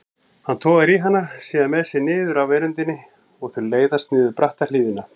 Hann togar hana síðan með sér niður af veröndinni og þau leiðast niður bratta hlíðina.